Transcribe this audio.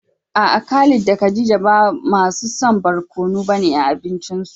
A'a Khalid da Khadija ba masu son barkono bane a abincinsu.